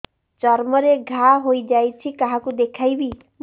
ଚର୍ମ ରେ ଘା ହୋଇଯାଇଛି କାହାକୁ ଦେଖେଇବି